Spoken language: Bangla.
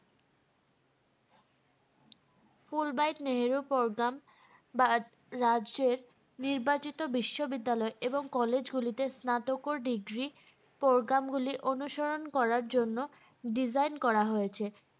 Full bright নেহেরু program রাজ্যের নির্বাচিত বিশ্ববিদ্যালয় এবং college গুলিতে স্নাতক degree program গুলি অনুসরণ করার জন্য design করা হয়েছে